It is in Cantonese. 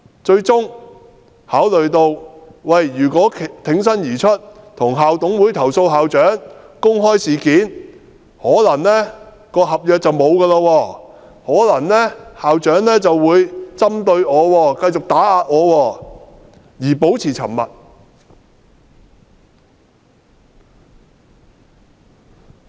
最終考慮到如果挺身而出，向校董會投訴校長及公開事件，他的合約便可能會終結，校長便會針對和繼續打壓他，他於是變得沉默。